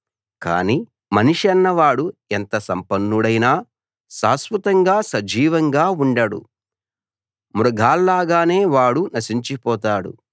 కానీ మనిషన్నవాడు ఎంత సంపన్నుడైనా శాశ్వతంగా సజీవంగా ఉండడు మృగాల్లాగానే వాడూ నశించిపోతాడు